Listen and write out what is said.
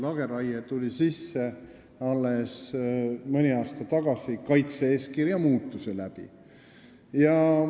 Lageraie tuli sisse alles mõni aasta tagasi, pärast kaitse-eeskirja muutmist.